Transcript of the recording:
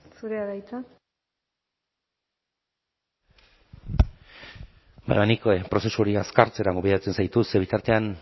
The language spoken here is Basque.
zurea da hitza nik prozesu hori azkartzera gonbidatzen zaitut ze bitartean